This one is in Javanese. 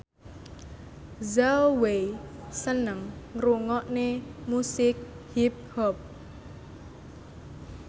Zhao Wei seneng ngrungokne musik hip hop